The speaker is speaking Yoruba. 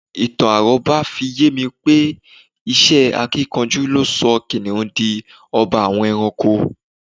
Ìtàn àró̩bá fi ye mi pé iṣẹ́ akínkanjú ló so̩ kìnìún di o̩ba àwo̩n e̩ranko